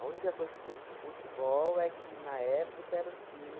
única coisa que tem com futebol é que na época era um time